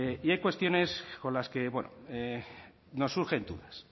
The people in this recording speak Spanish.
y hay cuestiones con las que bueno nos surgen dudas